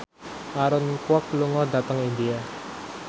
Aaron Kwok lunga dhateng India